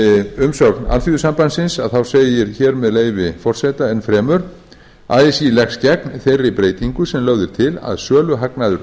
umsögn alþýðusambandsins segir hér með leyfi forseta enn fremur así leggst gegn þeirri breytingu sem lögð er til að söluhagnaður